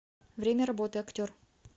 время работы актер